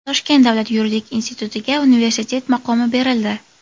Toshkent davlat yuridik institutiga universitet maqomi berildi.